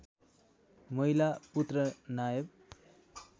माहिला पुत्र नायव